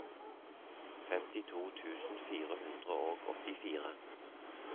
femtito tusen fire hundre og åttifire